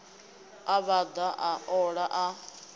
a vhaḓa a ola a